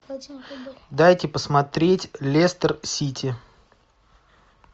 дайте посмотреть лестер сити